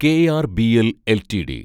KRBL LTD